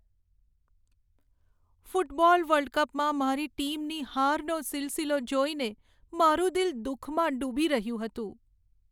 Football world કપમાં મારી ટીમની હારનો સિલસિલો જોઈને મારું દિલ દુઃખમાં ડૂબી રહ્યું હતું.